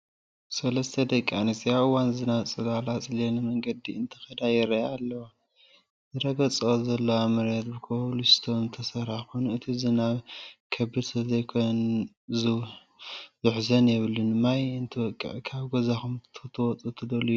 3+ ደቂ ኣንስትዮ ኣብ እዋን ዝናብ ፅላል ኣፅሊለን መንገዲ እንትኸዳ ይረአያ ኣለዋ፡፡ ዝረግፀኦ ዘለዋ መሬት ብኮብልስቶን ዝተሰርሐ ኾይኑ እቲ ዝናብ ከቢድ ስለዘይኮነ ዝውሕዝ የብሉን፡፡ ማይ እንትወቅዕ ካብ ገዛኹም ክትወፁ ዶ ትደልዩ?